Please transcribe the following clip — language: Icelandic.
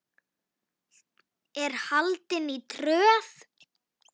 er haldin í Tröð.